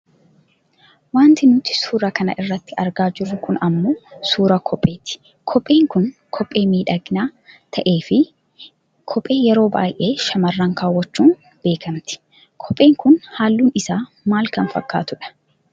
Wanti nuti suuraa kana irratti argaa jirru kun ammoo suuraa kopheeti. Kopheen kun kophee miidhagaa ta'ee fi kophee yeroo baayyee shamarran kaawaachuun beekkamti. Kopheen kun halluun isaa maal kan fakkaatu dha